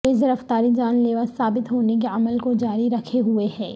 تیز رفتاری جان لیوا ثابت ہونے کے عمل کو جاری رکھے ہوئے ہے